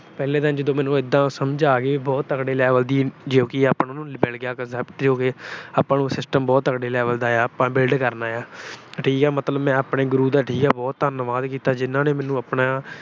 ਪਹਿਲੇ ਦਿਨ ਜਦੋਂ ਮੈਨੂੰ ਇਦਾਂ ਸਮਝ ਆ ਗਈ, ਬਹੁਤ ਤਕੜੇ level ਦੀ ਜੋ ਕਿ ਆਪਾ ਨੂੰ ਮਿਲ ਗਿਆ concept ਜੋ ਕਿ system ਬਹੁਤ ਤਕੜੇ level ਦਾ ਆਪਾ build ਕਰਨਾ ਏ। ਠੀਕ ਆ ਮੈਂ ਆਪਣੇ ਠੀਕ ਆ ਗੁਰੂ ਦਾ ਬਹੁਤ ਧੰਨਵਾਦ ਕੀਤਾ ਜਿਹਨਾਂ ਨੇ ਮੈਨੂੰ ਆਪਣਾ